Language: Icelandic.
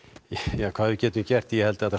ja hvað við getum gert ég held þetta